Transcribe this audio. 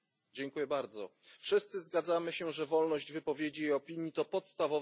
Wszyscy zgadzamy się, że wolność wypowiedzi i opinii to podstawowe prawa człowieka.